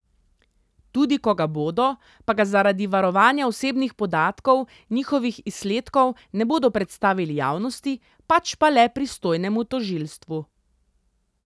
Tudi ko ga bodo, pa ga zaradi varovanja osebnih podatkov njihovih izsledkov ne bodo predstavili javnosti, pač pa le pristojnemu tožilstvu.